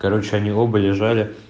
короче они оба лежали